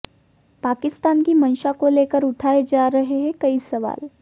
पाकिस्तान की मंशा को लेकर उठाए जा रहे हैं कई सवाल